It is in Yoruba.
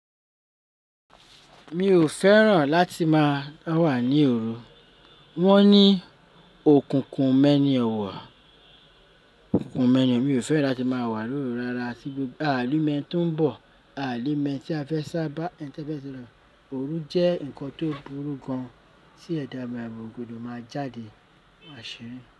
Mi ò fẹ́ràn láti máa dá wà ní òru, wọ́n ní òkùnkùn ò mẹ́ni ọ̀wọ̀, òkùnkùn o mẹ́ni ọ̀wọ̀, mi ò fẹ́ràn láti máa wà lóru rárá àtí gbogbo-- aà ní mẹni tó ń bọ̀, aà mẹni tí a fẹ́ sábà ń kán féé ṣẹlẹ ṣẹlẹ. Òru jẹ́ nǹkan tó burú gan an tí ẹ̀dà alaye kò gbọdọ máa jáde àṣírí.